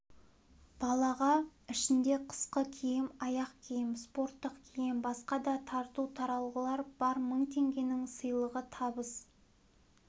балаға ішінде қысқы киім аяқ-киім спорттық киім басқа да тарту-таралғылар бар мың теңгенің сыйлығы табыс